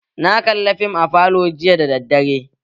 Na kalla fim a falo jiya da daddare